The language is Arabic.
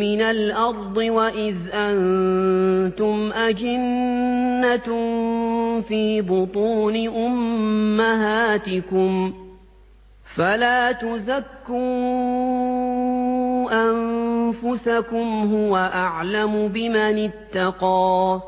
مِّنَ الْأَرْضِ وَإِذْ أَنتُمْ أَجِنَّةٌ فِي بُطُونِ أُمَّهَاتِكُمْ ۖ فَلَا تُزَكُّوا أَنفُسَكُمْ ۖ هُوَ أَعْلَمُ بِمَنِ اتَّقَىٰ